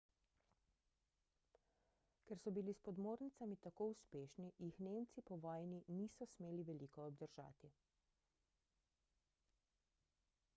ker so bili s podmornicami tako uspešni jih nemci po vojni niso smeli veliko obdržati